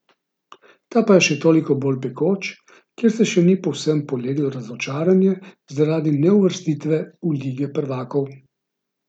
Ta je še toliko bolj pekoč, ker se še ni povsem poleglo razočaranje zaradi neuvrstitve v lige prvakov.